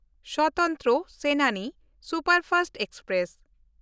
Swatantra Senani superfast express